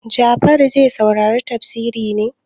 Jafaru zai saurari tafsiri ne?